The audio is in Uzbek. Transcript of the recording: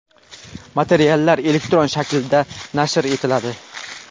materiallar elektron shaklda nashr etiladi.